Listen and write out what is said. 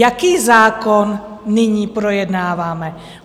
Jaký zákon nyní projednáváme?